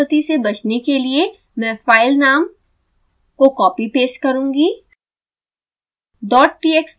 spelling की गलती से बचने के लिए मैं फाइलनाम को कॉपीपेस्ट करुँगी